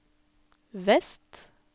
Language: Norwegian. vest